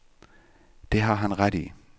Det har han ret i.